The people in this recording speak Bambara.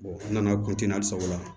an nana hali sago la